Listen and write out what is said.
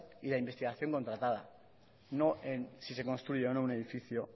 y la investigación contratada no en si se construye o no un edificio